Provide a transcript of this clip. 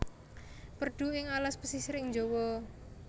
Perdu ing alas pesisir ing Jawa